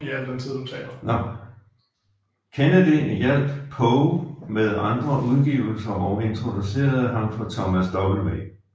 Kennedy hjalp Poe med andre udgivelser og introducerede ham for Thomas W